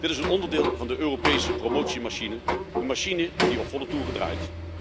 Dit is een onderdeel van de Europese promotiemachine, een machine die op volle toeren draait.